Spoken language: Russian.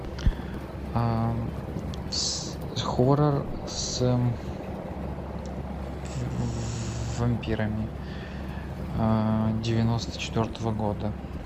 хоррор с вампирами девяносто четвертого года